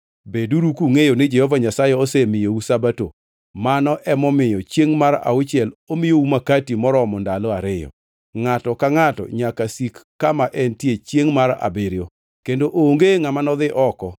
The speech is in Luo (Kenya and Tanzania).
Beduru kungʼeyo ni Jehova Nyasaye osemiyou Sabato, mano emomiyo chiengʼ mar auchiel omiyou Makati moromo ndalo ariyo. Ngʼato ka ngʼato nyaka sik kama entie chiengʼ mar abiriyo, kendo onge ngʼama nodhi oko.